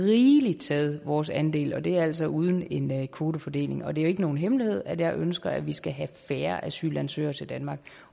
rigeligt taget vores andel og det er altså uden en kvotefordeling og det er jo ikke nogen hemmelighed at jeg ønsker at vi skal have færre asylansøgere til danmark